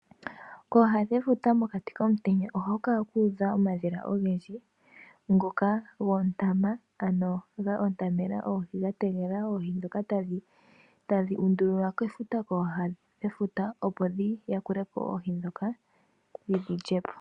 Kooha dhefuta mokati komutenya ohaku kala ku udha omadhila ogendji ngoka go ontama, ano go ontamena oohi ga tegelela oohi ndhoka tadhi undululilwa kooha dhefuta, opo dhi yakule po oohi ndhoka dhi dhi lye po.